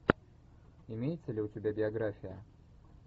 имеется ли у тебя биография